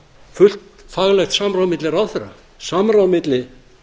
fullt faglegt samráð milli ráðherra samráð milli